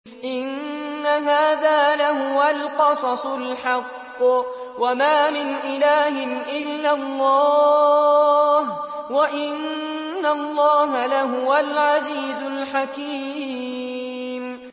إِنَّ هَٰذَا لَهُوَ الْقَصَصُ الْحَقُّ ۚ وَمَا مِنْ إِلَٰهٍ إِلَّا اللَّهُ ۚ وَإِنَّ اللَّهَ لَهُوَ الْعَزِيزُ الْحَكِيمُ